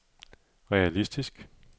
realistisk